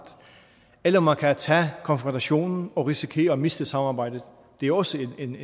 eller man kan tage konfrontationen og risikere at miste samarbejdet det er også en